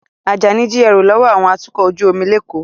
Ajani jí ẹrú lọ́wọ́ àwọn atukọ̀ ojú omi l'Eko